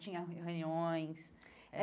Tinha reuniões.